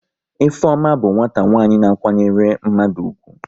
Ifeoma bụ nwata nwaanyị na kwanyere mmadụ ugwu